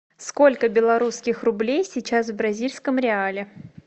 сколько белорусских рублей сейчас в бразильском реале